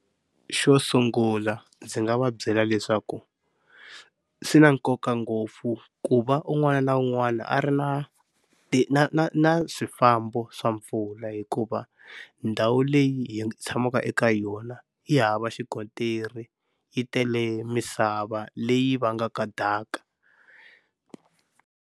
Xo sungula ndzi nga va byela leswaku swi na nkoka ngopfu ku va un'wana na un'wana a ri na na na na swifambo swa mpfula, hikuva ndhawu leyi hi tshamaka eka yona yi hava xikontiri yi tele misava leyi vangaka daka.